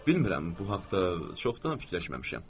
Bilmirəm, bu haqda çoxdan fikirləşməmişəm.